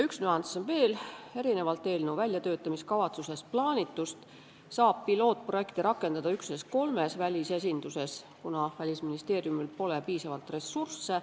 Üks nüanss on veel: erinevalt eelnõu väljatöötamiskavatsuses plaanitust saab katseprojekti rakendada üksnes kolmes välisesinduses, kuna Välisministeeriumil pole piisavalt ressursse.